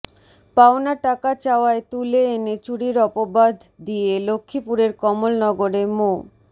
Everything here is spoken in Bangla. পাওনা টাকা চাওয়ায় তুলে এনে চুরির অপবাধ দিয়ে লক্ষ্মীপুরের কমলনগরে মো